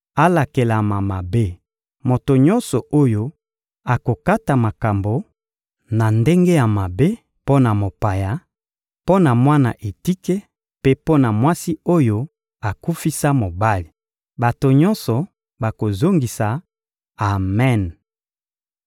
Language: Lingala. «Alakelama mabe moto nyonso oyo akokata makambo na ndenge ya mabe mpo na mopaya, mpo na mwana etike mpe mpo na mwasi oyo akufisa mobali!» Bato nyonso bakozongisa: «Amen!»